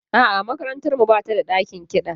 A'a, makarantar mu ba ta da ɗakin kiɗa.